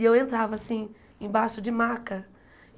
E eu entrava, assim, embaixo de maca.